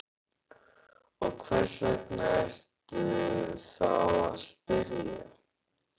Og hvers vegna ertu þá að spyrja?